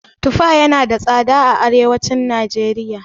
Tufa yana da tsada a arewacin najeriya.